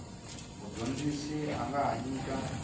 mudyondzi a nga ha nyika